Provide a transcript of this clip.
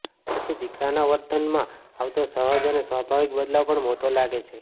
પછી દીકરાના વર્તનમાં આવતો સહજ અને સ્વાભાવિક બદલાવ પણ મોટો લાગે છે